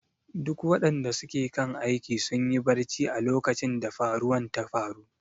Duk wadanda suke kan aiki sunyi barcci a lokacin da faruwan ta faru.